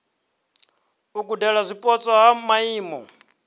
u gudela zwipotso ha maimo